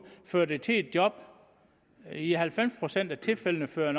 fører det til et job i halvfems procent af tilfældene fører